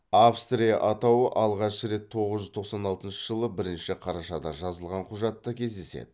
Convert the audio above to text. австрия атауы алғашқы рет тоғыз жүз тоқсан алтыншы жылы бірінші қарашада жазылған құжатта кездеседі